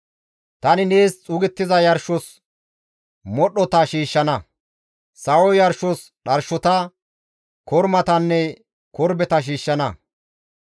Tani nees xuugettiza yarshos modhdhota shiishshana; sawo yarshos dharshota, kormatanne korbeta shiishshana.